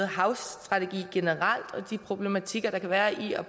havstrategi generelt og om de problematikker der kan være i at